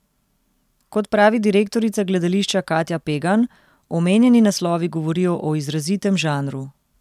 Kot pravi direktorica gledališča Katja Pegan, omenjeni naslovi govorijo o izrazitem žanru.